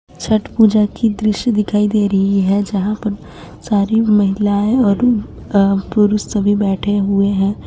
छठ पूजा की दृश्य दिखाई दे रही है। जहाँ पर सारी महिलाएं और अ पुरुष सभी बैठे हुए हैं।